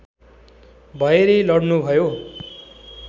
भएरै लड्नुभयो